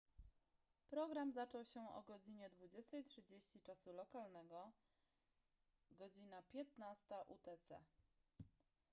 program zaczął się o godz. 20:30 czasu lokalnego godz. 15:00 utc